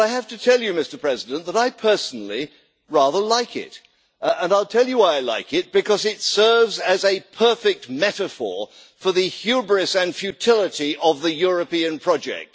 But I have to tell you, Mr President, that I personally rather like it, and I'll tell you why I like it, because it serves as a perfect metaphor for the hubris and futility of the European project.